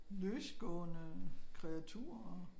Løsgående kreaturer og